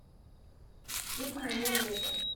хит моего лета